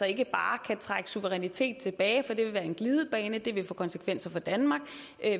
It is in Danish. ikke bare kan trække suverænitet tilbage for det ville være en glidebane og det ville få konsekvenser for danmark